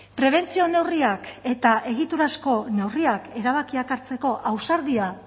prebentzio neurriak eta egiturazko neurriak erabakiak hartzeko ausardia